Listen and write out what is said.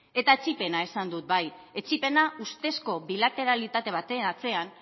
eta etsipena esan dut bai etsipena ustezko bilateralitate baten atzean